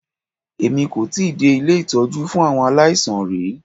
Èmi kò tíì dé ilé ìtọ́jú fún àwọn aláìsàn rí.